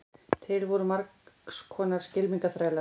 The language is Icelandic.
til voru margs konar skylmingaþrælar